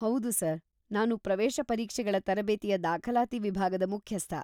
ಹೌದು ಸರ್‌, ನಾನು ಪ್ರವೇಶ ಪರೀಕ್ಷೆಗಳ ತರಬೇತಿಯ ದಾಖಲಾತಿ ವಿಭಾಗದ ಮುಖ್ಯಸ್ಥ.